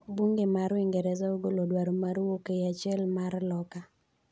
Bunge mar Uingereza ogolo dwaro mar wuok ei achiel mar loka.